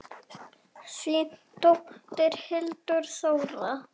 Þín dóttir, Hildur Þóra.